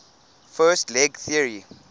fast leg theory